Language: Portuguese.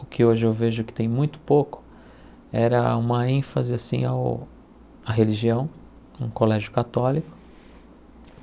o que hoje eu vejo que tem muito pouco era uma ênfase assim ao à religião, um colégio católico.